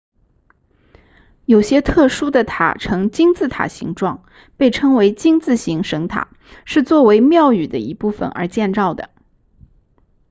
有些特殊的塔呈金字塔形状被称为金字形神塔是作为庙宇的一部分而建造的